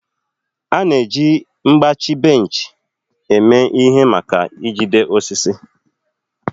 A na-eji mgbachi bench eme ihe maka ijide osisi.